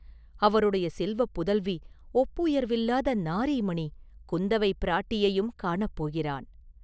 அவருடைய செல்வப் புதல்வி, ஒப்புயர்வில்லாத நாரீமணி, குந்தவைப் பிராட்டியையும் காணப் போகிறான்.